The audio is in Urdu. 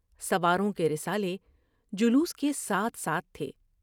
سواروں کے رسالے جلوس کے ساتھ ساتھ تھے ۔